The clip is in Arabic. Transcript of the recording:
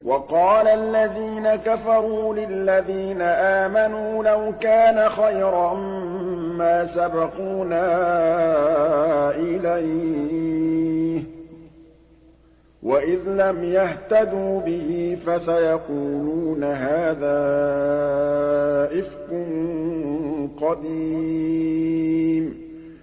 وَقَالَ الَّذِينَ كَفَرُوا لِلَّذِينَ آمَنُوا لَوْ كَانَ خَيْرًا مَّا سَبَقُونَا إِلَيْهِ ۚ وَإِذْ لَمْ يَهْتَدُوا بِهِ فَسَيَقُولُونَ هَٰذَا إِفْكٌ قَدِيمٌ